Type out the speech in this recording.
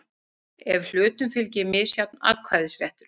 ef hlutum fylgir misjafn atkvæðisréttur.